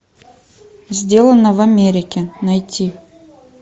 сделано в америке найти